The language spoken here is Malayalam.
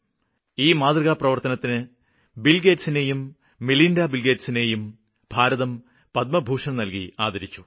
ഈ മാതൃകാപ്രവര്ത്തനത്തിന് ബില്ഗേറ്റ്സിനേയും മിലിന്ഡാ ബില്ഗേറ്റ്സിനേയും ഭാരതം പത്മഭൂഷണ് നല്കി ആദരിച്ചു